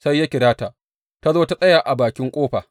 Sai ya kira ta, ta zo ta tsaya a bakin ƙofa.